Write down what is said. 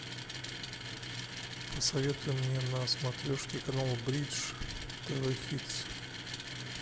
посоветуй мне на смотрешке канал бридж тв хитс